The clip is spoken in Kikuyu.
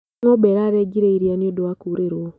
Ngombe ĩrarengire iria nĩũndũ wa kurĩrũo.